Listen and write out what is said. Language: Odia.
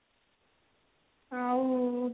ଆଉ